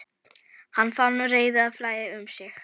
Hann fann reiðina flæða um sig.